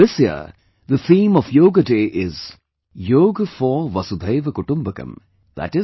This year the theme of Yoga Day is 'Yoga For Vasudhaiva Kutumbakam' i